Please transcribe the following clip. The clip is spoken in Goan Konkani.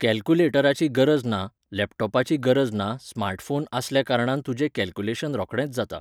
कॅल्कुलेटराची गरज ना लॅपटॉपाची गरज ना स्मार्ट फोन आसल्या कारणान तुजे कॅलक्यूलेशन रोखडेंच जाता